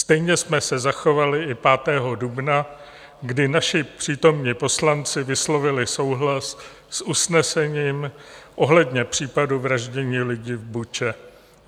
Stejně jsme se zachovali i 5. dubna, kdy naši přítomní poslanci vyslovili souhlas s usnesením ohledně případu vraždy lidí v Buče.